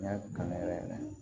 N y'a kanu yɛrɛ